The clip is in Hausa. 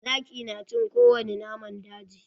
Zaki na cin ko wani naman daji.